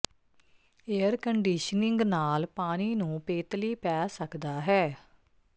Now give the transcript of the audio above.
air conditioning ਨਾਲ ਪਾਣੀ ਨੂੰ ਪੇਤਲੀ ਪੈ ਸਕਦਾ ਹੈ